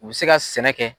U bɛ se ka sɛnɛ kɛ